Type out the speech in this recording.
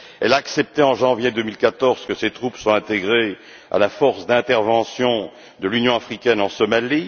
Elle a accepté, en janvier 2014, que ses troupes soient intégrées à la force d'intervention de l'Union africaine en Somalie.